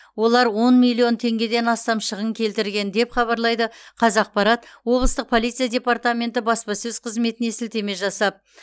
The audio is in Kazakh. олар он миллион теңгеден астам шығын келтірген деп хабарлайды қазақпарат облыстық полиция департаменті баспасөз қызметіне сілтеме жасап